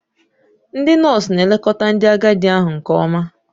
Ndị nọọsụ na-elekọta ndị agadi ahụ nke ọma.